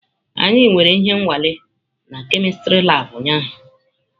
Anyị nwere ihe nwale na kemistri labụ ụnyaahụ.